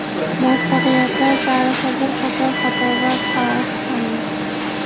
Muvaffaqiyatlar tarixi bir qator xatolar tarixi hamdir.